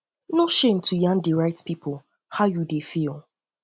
no um shame to yarn di right pipo how you um dey feel um